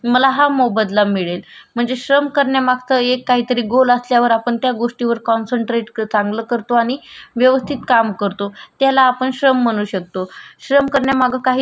येवस्तित काम करतो. त्याला पण श्रम म्हणू शकतो. श्रम करण्या माग काही तरी य अम्म आपला अ म्हणजेच पर्पज असतो. आपण ते ध्येय ठेऊन काम केलेलं असत. कि मी हे काम केल्यानंतर मला